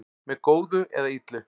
með góðu eða illu